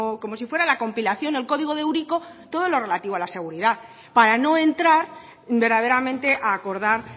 como si fuera la compilación el código de eurico todo lo relativo a la seguridad para no entrar verdaderamente a acordar